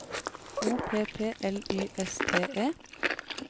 O P P L Y S T E